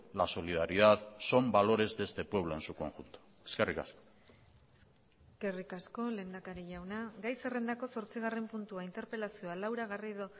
la solidaridad son valores de este pueblo en su conjunto eskerrik asko eskerrik asko lehendakari jauna gai zerrendako zortzigarren puntua interpelazioa laura garrido